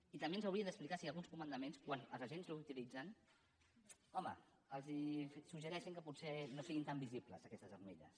i també ens hauria d’explicar si alguns comandaments quan els agents la utilitzen home els suggereixen que potser no siguin tan visibles aquestes armilles